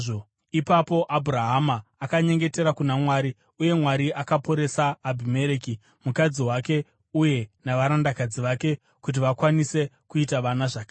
Ipapo Abhurahama akanyengetera kuna Mwari, uye Mwari akaporesa Abhimereki, mukadzi wake uye navarandakadzi vake kuti vakwanise kuita vana zvakare,